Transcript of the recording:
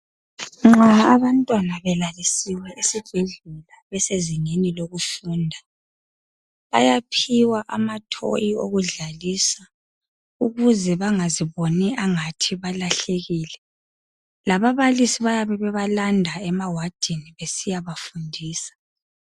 Nxa abantwana balalisiwe esibhedlela besezingeni lokufunda, bayaphiwa ama thoyi okudlalisa ukuze bangazibongi engathi balahlekile. Lababalisi bayabe bebalanda ema wadini besiyabafundisa.